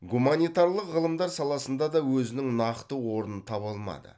гуманитарлық ғылымдар саласында да өзінің нақты орнын таба алмады